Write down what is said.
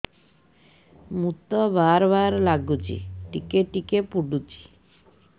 ମୁତ ବାର୍ ବାର୍ ଲାଗୁଚି ଟିକେ ଟିକେ ପୁଡୁଚି